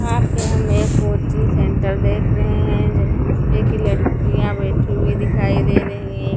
यहां पे हम एक कोचिंग सेंटर देख रहे हैं जिसपे कि लड़कियां बैठी हुई दिखाई दे रही हैं।